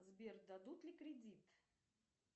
сбер дадут ли кредит